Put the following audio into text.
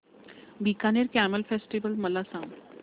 Bikaner camel festival मला सांग